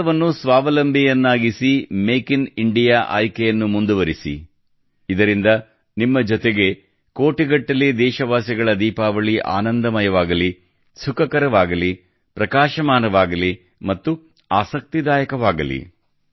ಭಾರತವನ್ನು ಸ್ವಾವಲಂಬಿಯನ್ನಾಗಿಸಿ make in India ಆಯ್ಕೆಯನ್ನು ಮುಂದುವರಿಸಿ ಇದರಿಂದ ನಿಮ್ಮ ಜೊತೆಗೆ ಕೋಟಿಗಟ್ಟಲೆ ದೇಶವಾಸಿಗಳ ದೀಪಾವಳಿ ಆನಂದಮಯವಾಗಲಿ ಸುಖಕರವಾಗಲಿ ಪ್ರಕಾಶಮಾನವಾಗಲಿ ಮತ್ತು ಆಸಕ್ತಿದಾಯಕವಾಗಲಿ